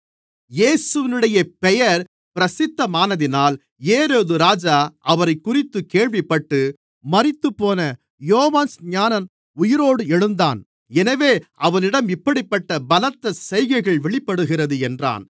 இயேசுவினுடைய பெயர் பிரசித்தமானதினால் ஏரோதுராஜா அவரைக்குறித்துக் கேள்விப்பட்டு மரித்துப்போன யோவான்ஸ்நானன் உயிரோடு எழுந்தான் எனவே அவனிடம் இப்படிப்பட்டப் பலத்த செய்கைகள் வெளிப்படுகிறது என்றான்